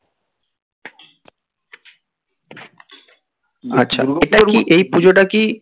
আচ্ছা এই পুজোটা কি